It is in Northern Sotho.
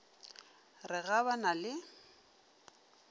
re ga ba na le